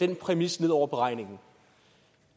den præmis ned over beregningen